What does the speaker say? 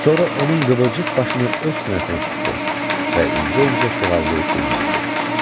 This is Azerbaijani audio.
Sonra onun qıvrıq başını öz sinəsinə sıxdı və incə-incə sığallayıb dilləndi: